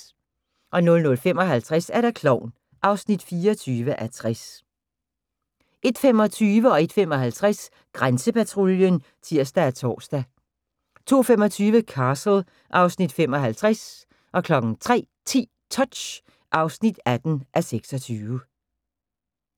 00:55: Klovn (24:60) 01:25: Grænsepatruljen (tir og tor) 01:55: Grænsepatruljen (tir og tor) 02:25: Castle (Afs. 75) 03:10: Touch (18:26)